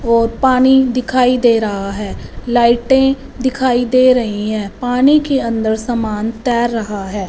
और पानी दिखाई दे रहा है लाइटें दिखाई दे रही हैं पानी के अंदर सामान तैर रहा है।